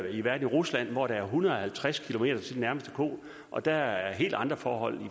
i rusland hvor der er en hundrede og halvtreds km til den nærmeste ko og der er helt andre forhold